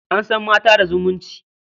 An san mata da zumunci.